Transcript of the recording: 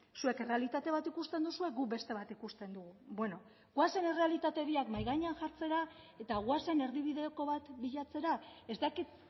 zuek errealitate bat ikusten duzue guk beste bat ikusten dugu beno goazen errealitate biak mahai gainean jartzera eta goazen erdibideko bat bilatzera ez dakit